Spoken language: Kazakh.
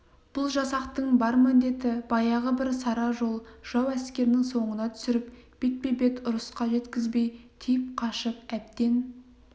бұл жасақтың бар міндеті баяғы бір сара жол жау әскерін соңына түсіріп бетпе-бет ұрысқа жеткізбей тиіп қашып әбден